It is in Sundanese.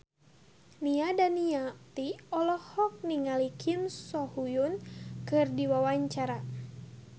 Nia Daniati olohok ningali Kim So Hyun keur diwawancara